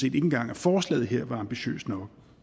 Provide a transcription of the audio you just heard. ikke engang at forslaget her er ambitiøst nok